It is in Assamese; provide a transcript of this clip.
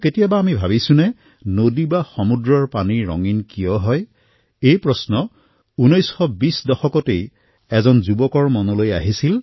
কেতিয়াবা আমি ভাবিছোঁ নে যে নদীয়েই হওক বা সাগৰেই হওক পানী ৰঙীণ কিয় হয় এই প্ৰশ্ন ১৯২০ ৰ দশক এক যুৱকৰ মনলৈ আহিছিল